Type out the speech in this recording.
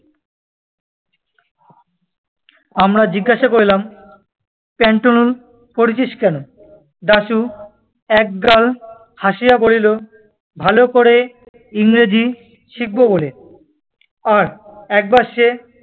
আমরা জিজ্ঞাসা করিলাম, পেন্টালুন পরেছিস্ কেন? দাশু একগাল হাসিয়া বলিল, ভালো করে ইংরেজি শিখব বলে। আর একবার সে